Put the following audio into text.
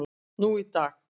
nú í dag.